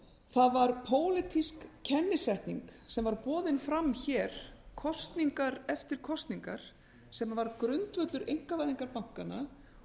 það var pólitísk kennisetning sem var boðin fram hér kosningar eftir kosningar sem var grundvöllur einkavæðingar bankanna